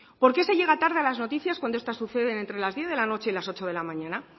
por qué se llega tarde a las noticias cuando estas suceden entre las diez de la noche y las ocho de la mañana